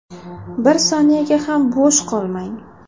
Bir soniyaga ham bo‘sh qolmang.